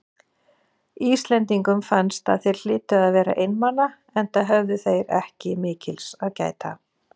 Íslendingum fannst að þeir hlytu að vera einmana, enda höfðu þeir ekki mikils að gæta.